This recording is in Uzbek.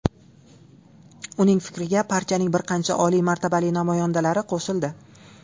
Uning fikriga partiyaning bir qancha oliy martabali namoyandalari qo‘shildi.